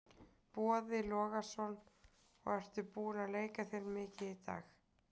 Boði Logason: Og ertu búinn að leika þér mikið í dag?